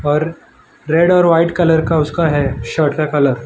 और रेड और white colour का उसका है शर्ट का कलर ।